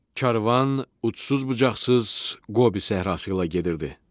Karvan ucusuz-bucaqsız Qobi səhrası ilə gedirdi.